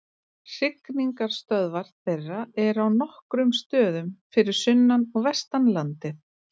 Hrygningarstöðvar þeirra eru á nokkrum stöðum fyrir sunnan og vestan landið.